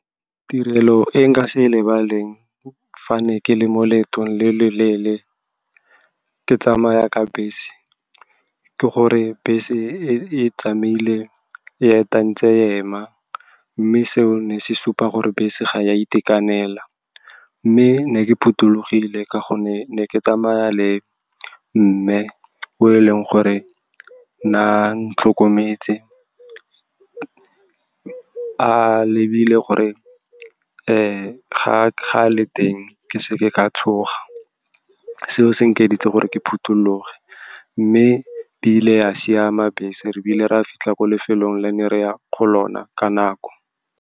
Tirelo e nka se e lebaleng fa ne ke le mo leeto le le leele ke tsamaya ka bese ke gore bese e tsamaile ya fetang tse hema mme seo ne se supa gore bese ga ya itekanela mme ne ke phuthologile ka gonne ne ke tsamaya le mme o e leng gore nang tlhokometse a lebile gore ka ga kgale teng ke seke ka tshoga seo se nka editse gore ke phuthologe mme ebile a siama bese re ebile re a fitlha ko lefelong la ne re ya go lona ka nako.